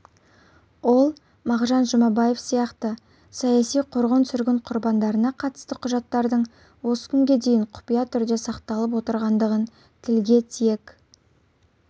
ол мағжан жұмабаев сияқты саяси қуғын-сүргін құрбандарына қатысты құжаттардың осы күнге дейін құпия түрде сақталып отырғандығын тілге тиек